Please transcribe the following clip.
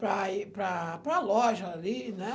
para ir para para a loja ali, né?